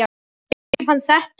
Meinar hann þetta?